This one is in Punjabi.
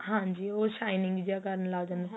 ਹਾਂਜੀ ਉਹ shining ਜਾਂ ਕਰਨ ਲੱਗ ਜਾਂਦੇ ਏ